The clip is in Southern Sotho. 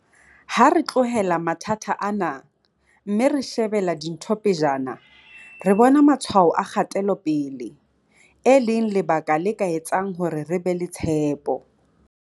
Ha re tlohela mathata ana, mme re shebela dintho pejana, re bona matshwao a kgatelo pele, e leng lebaka le ka etsang hore re be le tshepo.